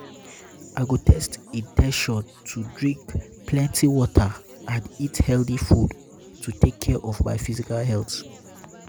i go set in ten tion to drink um plenty water and um eat healthy food to take um care of my physical health.